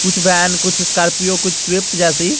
कुछ वैन कुछ स्कॉर्पियो कुछ स्विफ्ट जैसी--